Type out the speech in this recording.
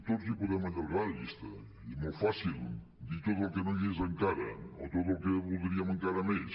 tots podem allargar la llista i és molt fàcil dir tot el que no hi és encara o tot el que voldríem encara més